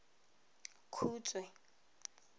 khutshwe